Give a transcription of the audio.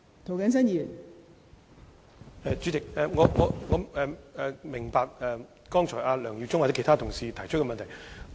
代理主席，我明白梁耀忠議員或其他同事剛才提出的問題。